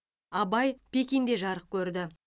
абай пекинде жарық көрді